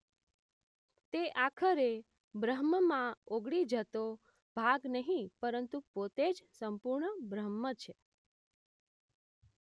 તે આખરે બ્રહ્મમાં ઓગળી જતો ભાગ નહીં પરંતુ પોતે જ સંપૂર્ણ બ્રહ્મ છે